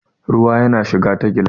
ruwa yana shiga ta gilas